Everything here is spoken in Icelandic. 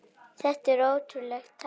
Þetta er ótrúleg tala.